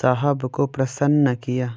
साहब को प्रसन्न किया